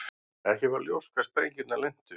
Ekki var ljóst hvar sprengjurnar lentu